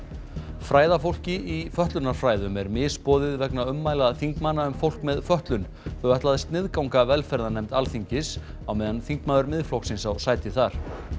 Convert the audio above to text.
fræðafólki í fötlunarfræðum er misboðið vegna ummæla þingmanna um fólk með fötlun þau ætla að sniðganga velferðarnefnd Alþingis á meðan þingmaður Miðflokksins á sæti þar